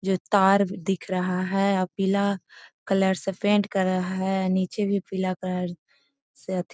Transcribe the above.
जे तार दिख रहा है अ पीला कलर से पेंट करल है। निचे भी पीला कलर से अथी --